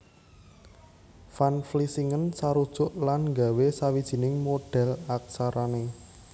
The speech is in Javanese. Van Vlissingen sarujuk lan nggawé sawijining modhèl aksarané